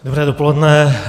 Dobré dopoledne.